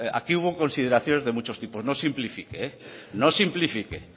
aquí hubo consideraciones de muchos tipos no simplifique no simplifique